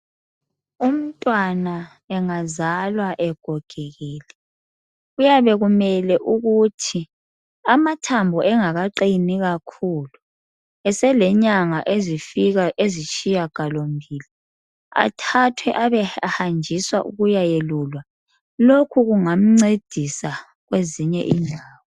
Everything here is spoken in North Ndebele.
Umntwana engazalwa egogekile, Kuyabe kumele ukuthi, amathambo engakaqini kakhulu eselenyanga ezifika ezitshiyagalombili athathwe abe ehanjiswa ukuya yelulwa lokhu kungamcedisa kwezinye indawo.